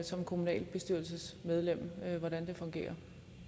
som kommunalbestyrelsesmedlem til hvordan det fungerer